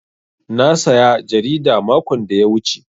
Na saya jarida makon da ya wuce.